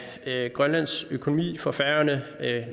af grønlands økonomi for færøerne